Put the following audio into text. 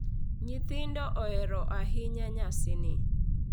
Nyithindo ohero ahinya nyasini.